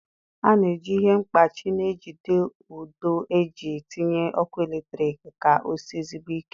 A na-eji ihe mkpachị na-ejide ụdọ eji tinye ọkụ eletrik ka osie ezigbo ike